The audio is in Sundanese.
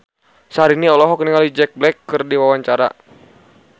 Syahrini olohok ningali Jack Black keur diwawancara